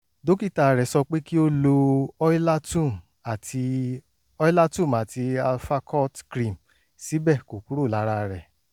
dókítà rẹ̀ sọ pé kí ó lo oilatum àti oilatum àti alfacort cream síbẹ̀ kò kúrò lára rẹ̀